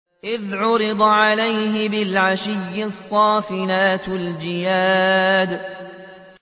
إِذْ عُرِضَ عَلَيْهِ بِالْعَشِيِّ الصَّافِنَاتُ الْجِيَادُ